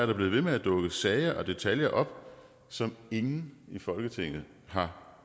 der blevet ved med at dukke sager og detaljer op som ingen i folketinget har